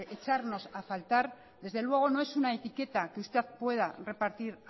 echarnos a faltar desde luego no es una etiqueta que usted pueda repartir